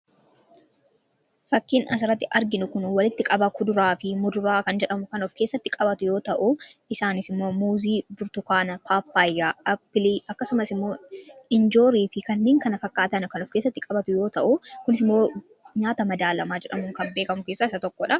Fakkiin asiratti arginu kun walitti qabaa kuduraa fi muduraa kan jedhamu kan of keessatti qabatu yoo ta'u isaanis immoo muuzii, burtukaana, paappaayya, appilii akkasumas immoo injoorii fi kanneen kana fakkaataan kan of kessatti qabatu yoo ta'u kunis immoo nyaata madaalamaa jedhamuun kan beekamu keessaa isa tokkodha.